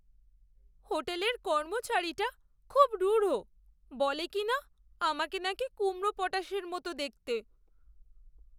হোটেলের কর্মচারীটা খুব রূঢ়। বলে কিনা, আমাকে নাকি কুমড়োপটাশের মতো দেখতে!